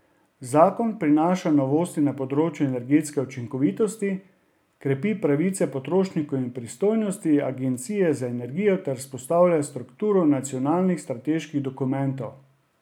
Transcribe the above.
Zakon prinaša novosti na področju energetske učinkovitosti, krepi pravice potrošnikov in pristojnosti agencije za energijo ter vzpostavlja strukturo nacionalnih strateških dokumentov.